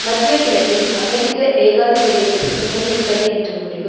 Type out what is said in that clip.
மத்திய கிழக்கில் அமெரிக்க ஏகாதிபத்தியதிற்குத் துணை நிற்பது என்ற முடிவு